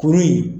Kuru in